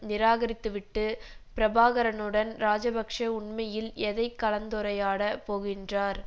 நிராகரித்துவிட்டு பிரபாகரனுடன் ராஜபக்ஷ உண்மையில் எதை கலந்துரையாடப் போகின்றார்